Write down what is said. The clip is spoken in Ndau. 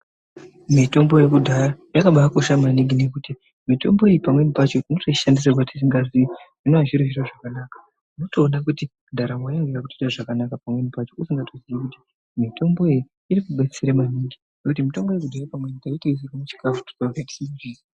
Mitombo yekudhaya yakabaikosha maningi ngekuti mitombo iyi pamweni pacho tinotoishandisirwa tisingaziyi zvinovazviri zvakanaka unotoona kuti ndaramo yangu yakuita zvakanaka pamweni pacho usingaziyi mitombo iyi irikudetsera maningi ngekuti mitombo iyi pamweni taitoiisirwa muchikafu.